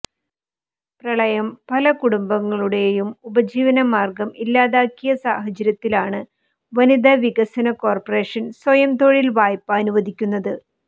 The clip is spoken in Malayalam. പ്രളയം പലകുടുംബങ്ങളുടെയും ഉപജീവനമാർഗം ഇല്ലാതാക്കിയ സാഹചര്യത്തിലാണ് വനിതാ വികസന കോർപറേഷൻ സ്വയംതൊഴിൽ വായ്പ അനുവദിക്കുന്നത്